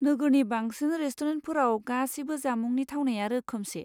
नोगोरनि बांसिन रेसतुरेन्टफोराव गासैबो जामुंनि थावनाया रोखोमसे।